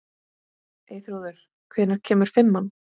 Eyþrúður, hvenær kemur fimman?